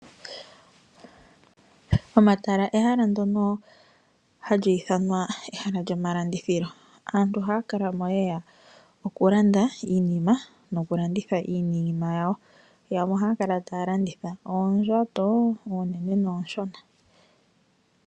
Omatala ehala ndono hali ithanwa ehala lyomalandithilo. Aantu ohaya kala mo ye ya okulanda iinima noku landitha iinima yawo. Yamwe ohaya kala taya landitha oondjato oonene noonshona.